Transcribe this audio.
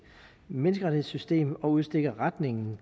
menneskerettighedssystem og udstikker retningen